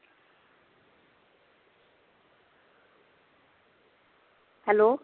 hello